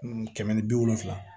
Kɛmɛ ni bi wolonfila